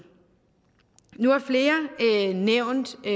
nu har flere nævnt det